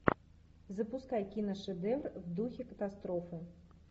запускай киношедевр в духе катастрофа